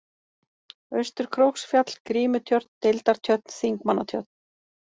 Austur-Króksfjall, Grímutjörn, Deildartjörn, Þingmannatjörn